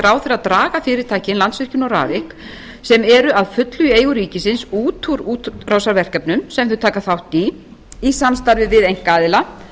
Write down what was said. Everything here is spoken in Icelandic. ráðherra draga fyrirtækin landsvirkjun og rarik sem eru að fullu í eigu ríkisins út úr útrásarverkefnum sem þau taka þátt í í samstarfi við einkaaðila